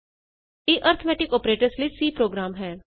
ਇਹ arithmetic operators ਲਈ C program ਹੈ